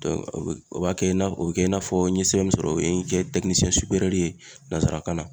o bɛ o b'a kɛ i n'a fɔ o bɛ kɛ i n'a fɔ n ye sɛbɛn sɔrɔ o ye n kɛ ye nansarakan na.